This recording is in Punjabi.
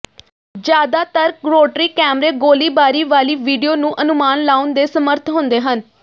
ਜ਼ਿਆਦਾਤਰ ਰੋਟਰੀ ਕੈਮਰੇ ਗੋਲੀਬਾਰੀ ਵਾਲੀ ਵੀਡੀਓ ਨੂੰ ਅਨੁਮਾਨ ਲਾਉਣ ਦੇ ਸਮਰੱਥ ਹੁੰਦੇ ਹਨ